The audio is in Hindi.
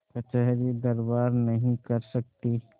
कचहरीदरबार नहीं कर सकती